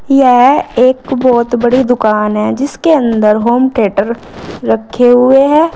यह एक बहुत बड़ी दुकान है जिसके अंदर होमथिएटर रखे हुए हैं।